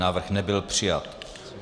Návrh nebyl přijat.